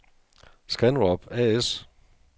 Scanrub A/S